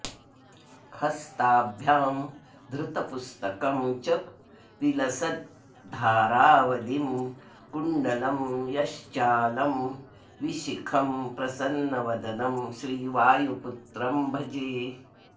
हस्ताभ्यां धृतपुस्तकं च विलसद्धारावलिं कुण्डलं यश्चालं विशिखं प्रसन्नवदनं श्रीवायुपुत्रं भजे